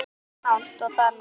Eins langt og það nær.